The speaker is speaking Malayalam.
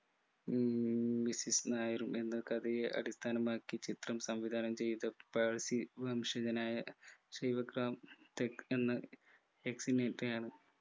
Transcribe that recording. ഉം missus നായരും എന്ന കഥയെ അടിസ്ഥാനമാക്കി ചിത്രം സംവിധാനം ചെയ്ത പാഴ്‌സി വംശജനായ ശിവഗ്രാം ടെക്‌ എന്ന് യാണ്